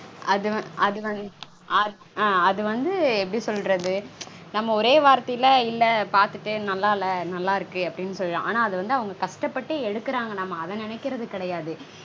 அது வந் அது வந்து எப்படி சொல்ரது? நம்ம ஓரே வார்த்தைல இல்ல பாத்துட்டேன் நல்லா இல்ல நல்லா இருக்கு அப்டீனு சொல்லிடறோம். ஆனா அது வந்து அவங்க கஷ்டப்பட்டு எடுக்கறாங்க நம்ம அது நெனைக்கறது கெடையாது